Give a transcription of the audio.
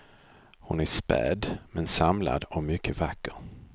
Hon är späd, men samlad och mycket vacker.